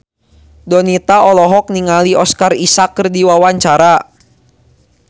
Donita olohok ningali Oscar Isaac keur diwawancara